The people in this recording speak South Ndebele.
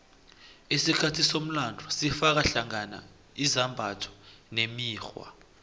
isikhathi somlando sifaka hlangana izimbatho nemikghwa